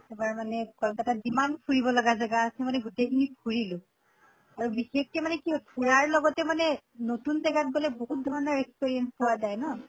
এবাৰ মানে কলকাতাত যিমান মানে ফুৰিব লাগা জাগা আছে গোটেই খিনি ফুৰিলো। আৰু বিশেষকে মানে কি ফুৰাৰ লগতে মানে নতুন জেগাত গʼলে বহুত ধৰণৰ experience পোৱা যায় ন